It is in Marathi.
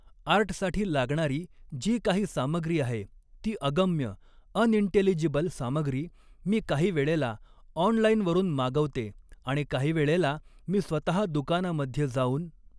आर्टसाठी लागणारी जी काही सामग्री आहे ती अगम्य अनइंटेलिजिबल सामग्री मी काही वेळेला ऑनलाईनवरून मागवते आणि काही वेळेला मी स्वतः दुकानामध्ये जाऊन